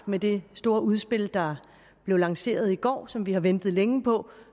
med det store udspil der blev lanceret i går og som vi har ventet længe på